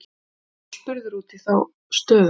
Jóhann var spurður út í þá stöðu.